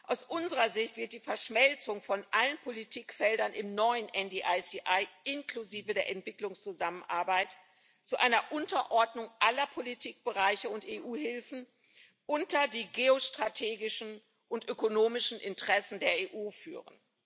Aus unserer Sicht wird die Verschmelzung von allen Politikfeldern im neuen NDICI inklusive der Entwicklungszusammenarbeit zu einer Unterordnung aller Politikbereiche und EU Hilfen unter die geostrategischen und ökonomischen Interessen der EU führen.